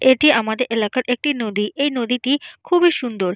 এটি আমাদের এলাকার একটি নদী। এই নদীটি খুবই সুন্দর।